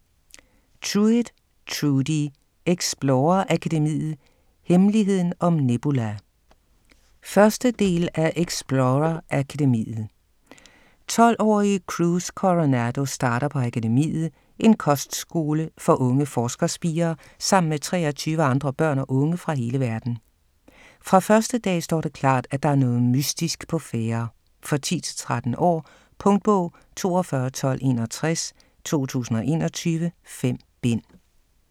Trueit, Trudi: Explorer Akademiet - hemmeligheden om Nebula 1. bog. del af Explorer Akademiet. 12-årige Cruz Coronado starter på Akademiet - en kostskole for unge forskerspirer - sammen med 23 andre børn og unge fra hele verden. Fra første dag står det klart, at der er noget mystisk på færde. For 10-13 år. Punktbog 421261 2021. 5 bind.